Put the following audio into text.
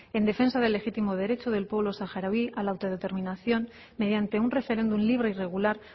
en defensa de legítimo derecho del pueblo saharaui a la autodeterminación mediante un referéndum libre y regular